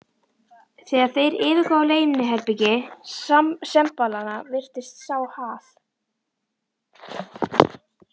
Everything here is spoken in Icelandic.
Þegar þeir yfirgáfu leyniherbergi sembalanna, birtist sá Hal